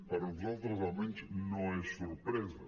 per nosaltres almenys no és sorpresa